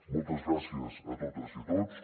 moltes gràcies a totes i a tots